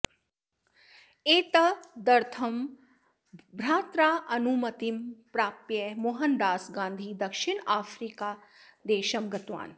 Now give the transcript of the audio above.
एतदर्थं भ्रात्रा अनुमतिं प्राप्य मोहनदास गान्धी दक्षिणआफ्रिकादेशं गतवान्